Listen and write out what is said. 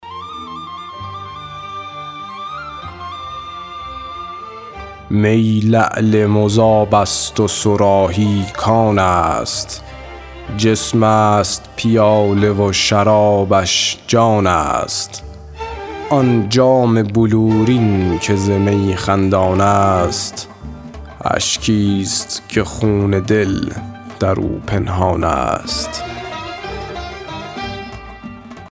می لعل مذاب است و صراحی کان است جسم است پیاله و شرابش جان است آن جام بلورین که ز می خندان است اشکی است که خون دل در او پنهان است